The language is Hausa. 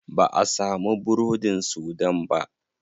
Ba'a samu burodin sudan ba.